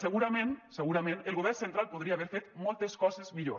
segurament segurament el govern central podria haver fet moltes coses millor